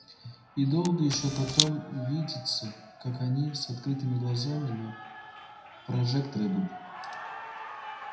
и долго ещё потом видится как они с открытыми глазами на прожектор идут